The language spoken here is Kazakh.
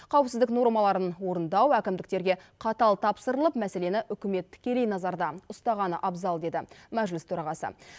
қауіпсіздік нормаларын орындау әкімдіктерге қатал тапсырылып мәселені үкімет тікелей назарда ұстағаны абзал деді мәжіліс төрағасы